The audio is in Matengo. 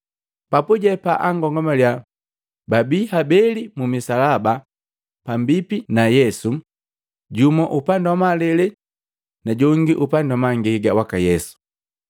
Papuje baakomangalya bii habeli mumisalaba pambipi na Yesu, jumu upandi wa malele na jongi upandi wa mangega waka Yesu.